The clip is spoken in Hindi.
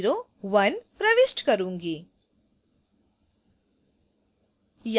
मैं value 00001 प्रविष्ट करूंगी